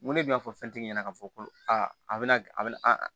N ko ne tun y'a fɔ fɛntigi ɲɛna k'a fɔ ko aa a bɛna a bɛna